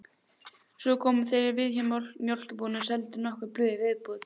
Svo komu þeir við hjá mjólkurbúðinni og seldu nokkur blöð í viðbót.